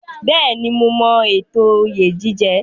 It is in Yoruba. Bẹ́ẹ̀ni, mo mọ ètò oyè jíjẹ.